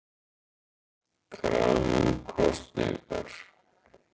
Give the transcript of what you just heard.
Krafa um kosningar